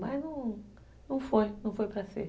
Mas não foi, não foi para ser.